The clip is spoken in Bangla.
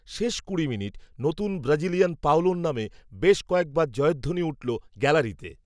শেষ কুড়ি মিনিট, নতুন ব্রাজিলিয়ান পাওলোর নামে, বেশ, কয়েকবার জয়ধ্বনি উঠল, গ্যালারিতে